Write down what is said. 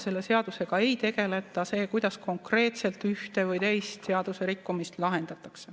See seadus ei tegele sellega, kuidas konkreetselt ühte või teist seadusrikkumist lahendatakse.